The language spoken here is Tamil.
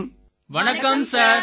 எல்லோரும் வணக்கம் சார்